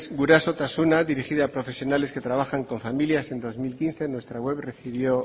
gurasotasuna dirigidas a profesionales que trabajan con familias en dos mil quince nuestra web recibió